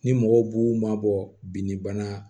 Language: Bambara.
Ni mɔgɔw b'u mabɔ binbana